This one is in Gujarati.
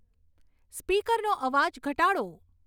સ્પીકરનો અવાજ ઘટાડો